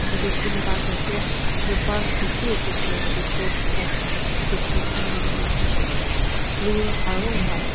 etu toh green park ase etu park te ki ase koile etu te boat rakhina ase etu boat toh nachulai hoishe blue aru white .